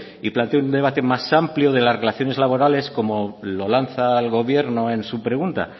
y plantee un debate más amplio de las relaciones laborales como lo lanza al gobierno en su pregunta